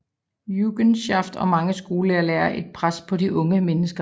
Jungenschaft og mange skolelærere lagde et pres på de unge